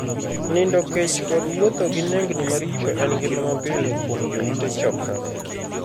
Nindo kech kod wuotho gi nengni maricho en ngima mapile kuom joute 'chokra'.